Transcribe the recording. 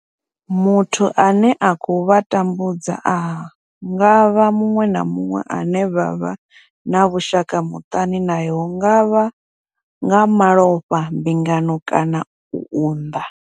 Muthu ane a khou vha tambudza a nga vha muṅwe na muṅwe ane vha vha na vhushaka muṱani nae hu nga vha nga malofha, mbingano kana u unḓa.